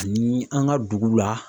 Ani an ka dugu la.